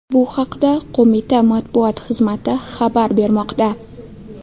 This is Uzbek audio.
Bu haqda qo‘mita matbuot xizmati xabar bermoqda .